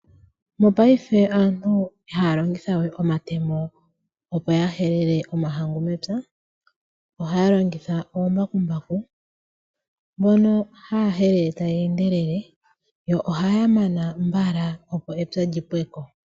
Mopaife aantu ihaya longitha we omatemo opo ya helele omahangu mepya. Ohaya longitha ombakumbaku mbono haya helele taya endelele yo ohaya mana mbala opo epya lyi pweko.